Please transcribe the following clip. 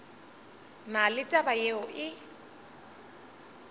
na le taba yeo e